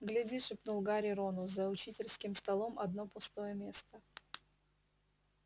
гляди шепнул гарри рону за учительским столом одно место пустое